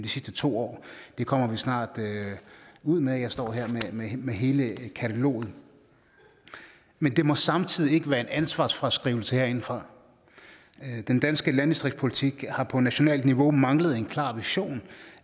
sidste to år det kommer vi snart ud med jeg står her med hele kataloget men det må samtidig ikke være en ansvarsfraskrivelse herindefra den danske landdistriktspolitik har på nationalt niveau manglet en klar vision